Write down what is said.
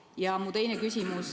Kas see on juba teada?